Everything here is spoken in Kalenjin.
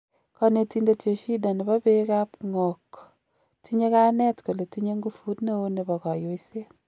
Konetindet Yoshida nebo beek ab ng'oog, tinye kayaneet kole tinye nguvuut neo nebo goyoiset.